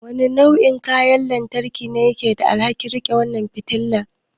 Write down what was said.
Wane nau'in kayan lantarki ne yake da alhakin riƙe ƙwan fitala?